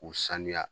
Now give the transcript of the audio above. K'u sanuya